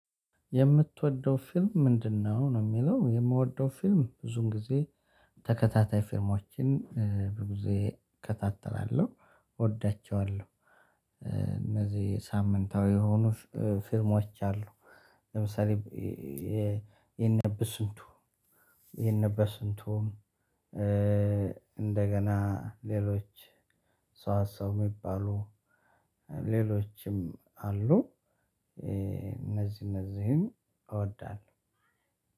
የምትወደው ፊልም ምንድነው? ነው የሚለው የምወደው ፊልም ብዙን ጊዜ ተከታታይ ፊልሞችን ብዙ ጊዜ እከታተላለሁ እወዳቸዋለሁ። እነዚህ ሳምንታዊ የሆኑ ፊልሞች አሉ። ለምሳሌ የነ በስንቱ የነ በስንቱም እንደገና ሌሎች ሰዋሰው የሚባሉ ሌሎችም አሉ። እነዚህ እነዚህን እወዳለሁ።